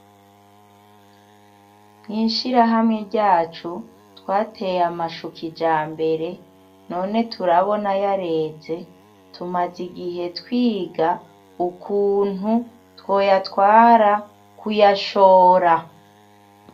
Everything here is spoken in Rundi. Mwishirahamwe ryacu twateye amashu kijambere none turabona yareze, tumaze igihe twiga ukuntu twoyatwara kuyashora .